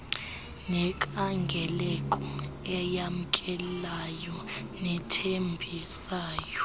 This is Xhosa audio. nenkangeleko eyamkelayo nethembisayo